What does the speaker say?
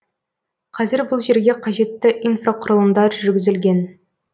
қазір бұл жерге қажетті инфрақұрылымдар жүргізілген